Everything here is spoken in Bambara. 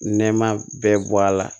Nɛma bɛɛ bɔ a la